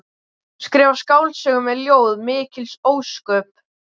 Skrifa skáldsögu eða ljóð, mikil ósköp.